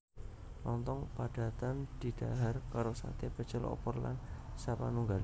Lonthong padatan didhahar karo saté pecel opor lan sapanunggale